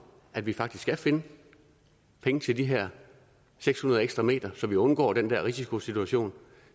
at vi faktisk skal finde penge til de her seks hundrede ekstra meter så vi undgår den der risikosituation og